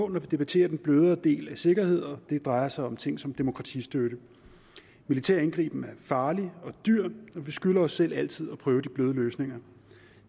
vi debatterer den blødere del af sikkerhed og det drejer sig om ting som demokratistøtte militær indgriben er farlig og dyr og vi skylder os selv altid at prøve de bløde løsninger